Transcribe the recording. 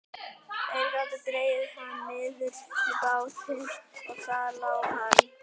Þeir gátu dregið hann niður í bátinn og þar lá hann.